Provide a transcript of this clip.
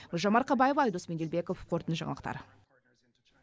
гүлжан марқабаева айдос меделбеков қорытынды жаңалықтар